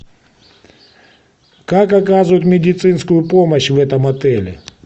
как оказывают медицинскую помощь в этом отеле